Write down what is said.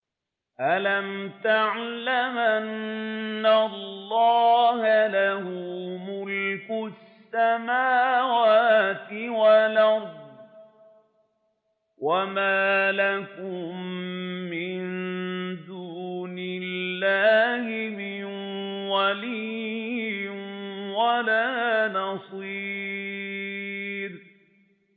أَلَمْ تَعْلَمْ أَنَّ اللَّهَ لَهُ مُلْكُ السَّمَاوَاتِ وَالْأَرْضِ ۗ وَمَا لَكُم مِّن دُونِ اللَّهِ مِن وَلِيٍّ وَلَا نَصِيرٍ